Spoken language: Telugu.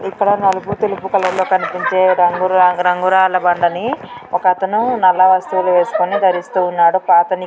ఇక్కడ నలుపు తెలుపు కలర్ లొ కనిపించే రంగు రంగు రాళ్ళ బండ ని ఒకతను నల్ల వస్తువులు వేస్కొని ధరిస్తూ ఉన్నాడు పాత ని--